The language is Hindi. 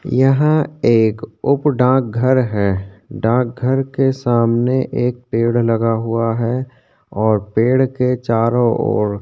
यहाँ एक उप डाक घर हैं उप डाक घर के सामने एक पेड़ लगा हुआ हैं और पेड़ के चारों ओर--